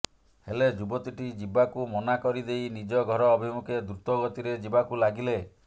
ହେଲେ ଯୁବତୀଟି ଯିବାକୁ ମନା କରିଦେଇ ନିଜ ଘର ଅଭିମୁଖେ ଦ୍ରୁତ ଗତିରେ ଯିବାକୁ ଲାଗିଲେ